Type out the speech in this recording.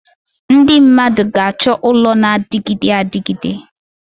Ndị mmadụ ga-achọ ụlọ na-adịgide adịgide.